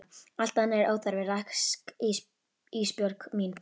Allt annað er óþarfa rask Ísbjörg mín.